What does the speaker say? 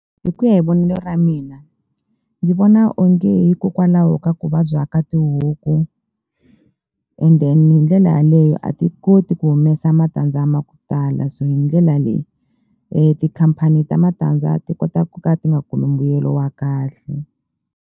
Hi ku ya hi vonelo ra mina ndzi vona onge hikokwalaho ka ku vabya ka tihuku and then hi ndlela yaleyo a ti koti ku humesa matandza ma ku tala so hi ndlela leyi tikhampani ta matandza ti kota ku ka ti nga kumi mbuyelo wa kahle.